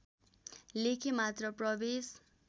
लेखे मात्र प्रवेश